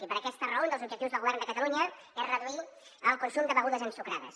i per aquesta raó un dels objectius del govern de catalunya és reduir el consum de begudes ensucrades